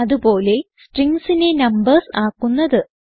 അത് പോലെ stringsനെ നംബർസ് ആക്കുന്നത്